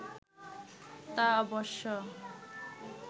তা অবশ্য